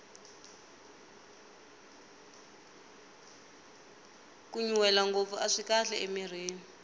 kunyunrwela ngopfu aswi kahle emirhini